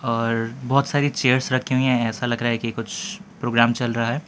और बहोत सारी चेयर्स रखी हुई है ऐसा लग रहा है कि कुछ प्रोग्राम चल रहा है।